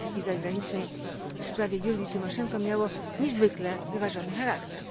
Polityki Zagranicznej w sprawie Julii Tymoszenko miało niezwykle wyważony charakter.